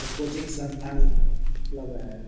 ये कोचिंग संस्थान लग रहा है।